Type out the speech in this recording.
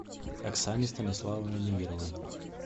оксане станиславовне неверовой